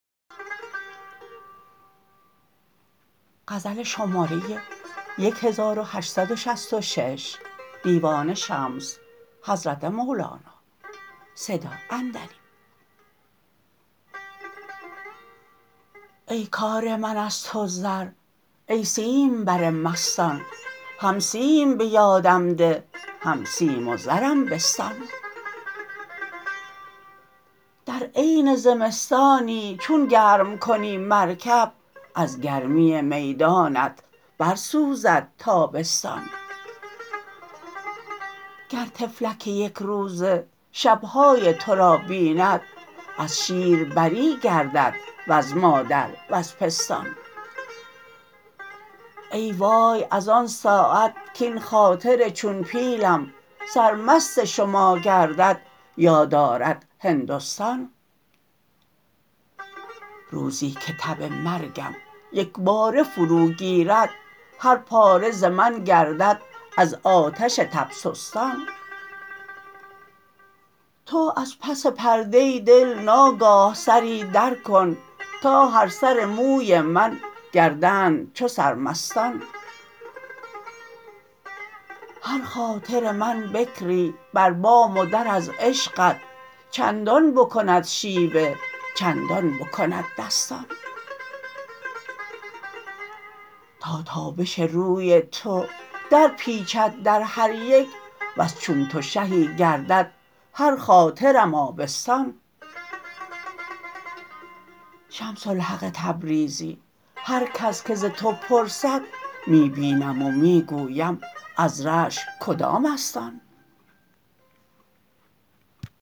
ای کار من از تو زر ای سیمبر مستان هم سیم به یادم ده هم سیم و زرم بستان در عین زمستانی چون گرم کنی مرکب از گرمی میدانت برسوزد تابستان گر طفلک یک روزه شب های تو را بیند از شیر بری گردد وز مادر وز پستان ای وای از آن ساعت کاین خاطر چون پیلم سرمست شما گردد یاد آرد هندستان روزی که تب مرگم یک باره فروگیرد هر پاره ز من گردد از آتش تب سستان تو از پس پرده دل ناگاه سری درکن تا هر سر موی من گردند چو سرمستان هر خاطر من بکری بر بام و در از عشقت چندان بکند شیوه چندان بکند دستان تا تابش روی تو درپیچد در هر یک وز چون تو شهی گردد هر خاطرم آبستان شمس الحق تبریزی هر کس که ز تو پرسد می بینم و می گویم از رشک کدام است آن